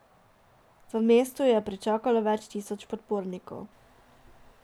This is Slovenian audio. V mestu ju je pričakalo več tisoč podpornikov.